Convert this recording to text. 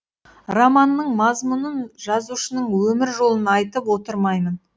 романның мазмұнын жазушының өмір жолын айтып отырмаймын